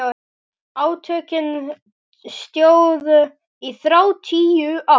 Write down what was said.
Átökin stóðu í þrjátíu ár.